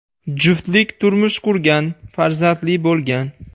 Juftlik turmush qurgan, farzandli bo‘lgan.